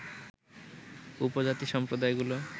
উপজাতি সম্প্রদায়গুলো